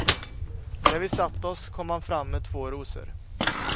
När vi satt oss kom han fram med två rosor.